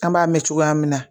An b'a mɛn cogoya min na